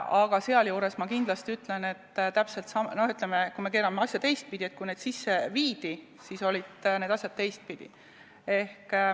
Aga kui me keerame asja teistpidi, siis võib öelda, et kui need muudatused sisse viidi, siis olid need asjad teistpidi.